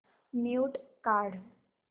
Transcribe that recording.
mute काढ